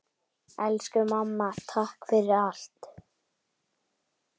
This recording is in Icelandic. Elsku mamma, takk fyrir allt.